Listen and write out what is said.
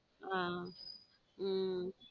ஹம் உம்